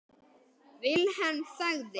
Vilhelm þagði.